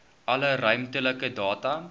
alle ruimtelike data